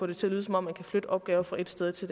det til at lyde som om man kan flytte opgaver fra ét sted til